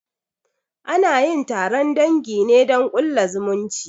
Anayin taron dangi ne don a ƙulla zumunci